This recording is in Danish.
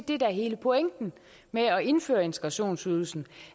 det der er hele pointen med at indføre integrationsydelsen